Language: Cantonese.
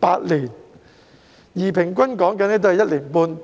8年，而平均也需時1年半。